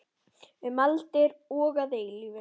Um aldir og að eilífu.